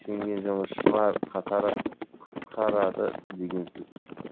жұмысшылар қатары қысқарады деген сөз